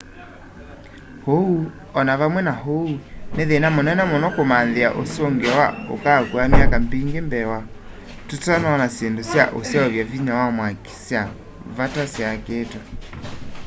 ũũ o na vamwe na ũu nĩ thĩna mũnene mũno kũmanthĩa ũsũngĩo na ũkaakua myaka mingĩ mbee wa tũtanona syĩndũ sya ũseuvya vinya wa mwaki sya vata syakĩtwe